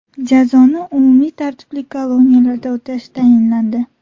Jazoni umumiy tartibli koloniyalarda o‘tash tayinlandi.